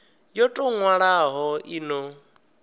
yo tou nwalwaho i no